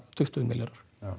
tuttugu milljarðar